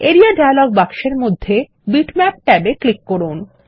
area dialog বাক্সের মধ্যে bitmap ট্যাবে ক্লিক করুন